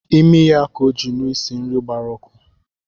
Imi ya ka ọ jiri nụ isi nri gbara ọkụ